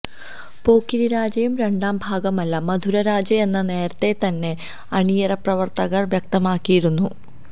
പോക്കിരി രാജയുടെ രണ്ടാം ഭാഗമല്ല മധുരരാജയെന്ന് നേരത്തെ തന്നെ അണിയറപ്രവര്ത്തകര് വ്യക്തമാക്കിയിരുന്നു